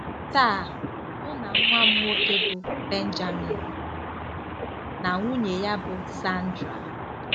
Taa, mụ na nwa m nwoke, bụ́ Benjamin, na nwunye ya, bụ́ Sandra